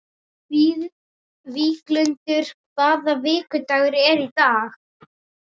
Víglundur, hvaða vikudagur er í dag?